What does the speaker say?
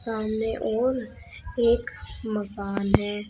सामने और एक मकान है।